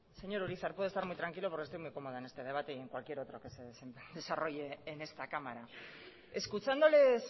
señor urizar puede estar muy tranquilo porque estoy muy cómoda en este debate y en cualquier otro que se desarrolle en esta cámara escuchándoles